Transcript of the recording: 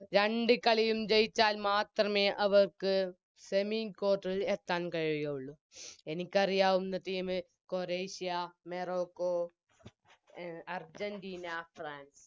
രണ്ട് കളിയും ജയിച്ചാൽമാത്രമേ അവർക്ക് Semi quarter ൽ എത്താൻ കഴിയുകയുള്ളു എനിക്കറിയാവുന്ന Team ക്രൊയേഷ്യ മെറോകോ എ അർജെന്റീന ഫ്രാൻസ്